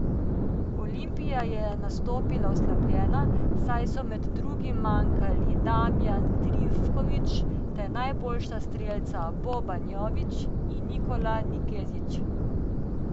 Olimpija je nastopila oslabljena, saj so med drugim manjkali Damjan Trifković ter najboljša strelca Boban Jović in Nikola Nikezić.